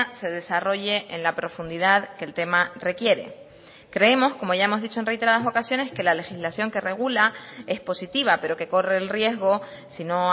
se desarrolle en la profundidad que el tema requiere creemos como ya hemos dicho en reiteradas ocasiones que la legislación que regula es positiva pero que corre el riesgo si no